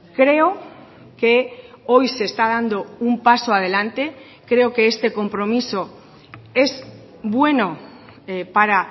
creo que hoy se está dando un paso adelante creo que este compromiso es bueno para